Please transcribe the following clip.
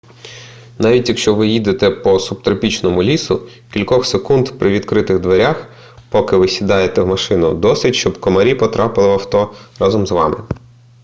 навіть якщо ви їдете по субтропічному лісу кількох секунд при відкритих дверях поки ви сідаєте в машину досить щоб комарі потрапили в авто разом із вами